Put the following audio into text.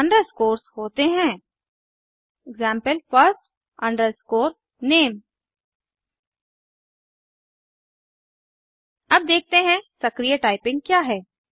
अब देखते हैं सक्रीय टाइपिंग क्या है160